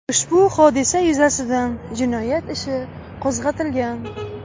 Ushbu hodisa yuzasidan jinoyat ishi qo‘zg‘atilgan.